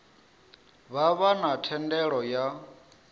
vha vha na thendelo ya